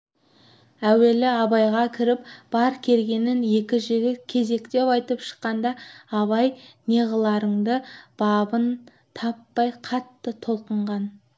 әуелі абайға кіріп бар кергенін екі жігіт кезектеп айтып шыққанда абай неғылардың бабын таппай қатты толқыған